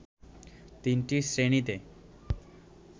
তিনটি শ্রেণিতে